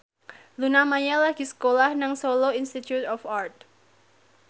Luna Maya lagi sekolah nang Solo Institute of Art